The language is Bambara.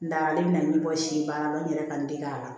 N dalen bɛ na ɲɛbɔ si baara la n yɛrɛ ka n dege a la